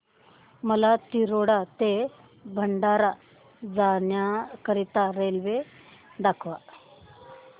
मला तिरोडा ते भंडारा जाण्या करीता रेल्वे दाखवा